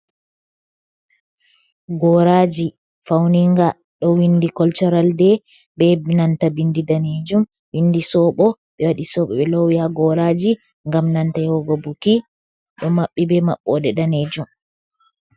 Goraji fauninga ɗo windi kolcoral de, be nanta bindi danejum windi soɓo, ɓe wadi soɓo be lowi ha goraji ngam nanta yahugo buki ɗo maɓɓi be maɓɓode danejum.